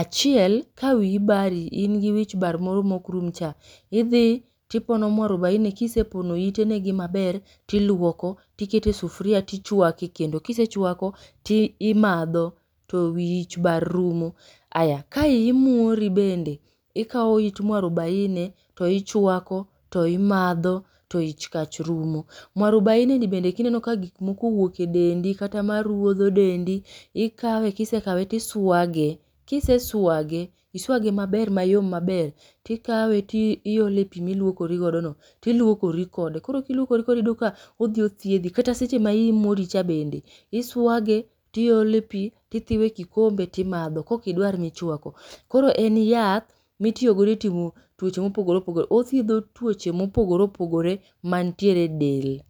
Achiel, ka wiyi bari, in gi wich bar moro mok rum cha. Idhi, tipono mwarubaine kisepono ite negi maber, tiluoko, tikete e sufria tichwake e kendo. Kisechwako, ti imadho to wich bar rumo. Aya ka iyi muori bende, ikawo it mwarubaine, to ichwako, to imadho, to ich kach rumo. Mwarubaine ni bende kineno ka gik moko owuok e dendi kata maruodho dendi, ikawe kisekawe tiswage. Kiseswage, iswage maber mayom maber, tikawe ti iole e pii milwokori godo no, tiluokori kode. Koro kiluokori kode tiyudo ka odhi othiedhi. Kata seche ma iyi muori cha bende, iswage, tiole pii, tithiwe e kikombe timadho kokidwar michwako. Koro en yath, mitiyo godo e timo tuoche mopogore opogore. Otheidho tuoche mopogore opogore mantiere e del